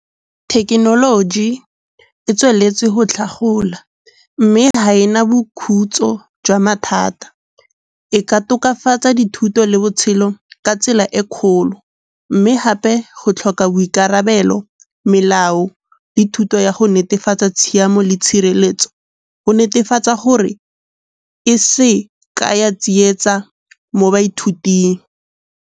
Thekenoloji e tsweletse go tlhagola mme ga ena boikhutso jwa mathata. E ka tokafatsa dithuto le botshelo ka tsela e kgolo. Mme gape go tlhoka boikarabelo, melao le thuto ya go netefatsa tshiamo le tshireletso go netefatsa gore e se ka ya tsietsa mo baithuting.